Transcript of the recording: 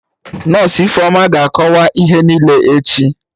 Nọsụ Ifeoma ga-akọwa ihe niile echi